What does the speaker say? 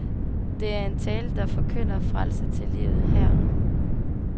Det er en tale, der forkynder frelse til livet, her og nu.